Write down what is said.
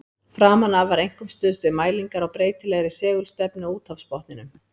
Framan af var einkum stuðst við mælingar á breytilegri segulstefnu á úthafsbotninum.